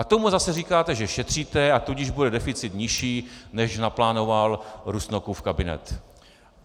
A tomu zase říkáte, že šetříte, a tudíž bude deficit nižší, než naplánoval Rusnokův kabinet.